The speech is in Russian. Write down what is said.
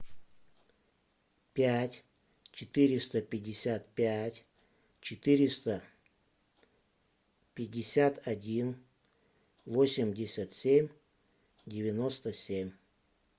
пять четыреста пятьдесят пять четыреста пятьдесят один восемьдесят семь девяносто семь